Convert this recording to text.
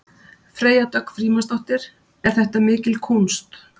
Freyja Dögg Frímannsdóttir: Er þetta mikil kúnst?